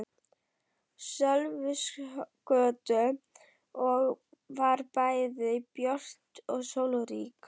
Sölvhólsgötu og var bæði björt og sólrík.